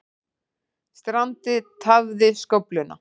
Strandið tafði skófluna